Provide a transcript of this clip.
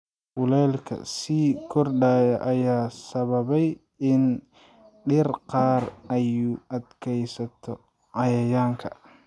Kuleylka sii kordhaya ayaa sababay in dhir qaar ay u adkeysato cayayaanka.